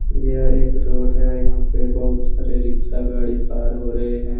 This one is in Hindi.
यह एक रोड है यहा पे बहुत सारे रिक्शा गाड़ी पार हो रहे हैं ।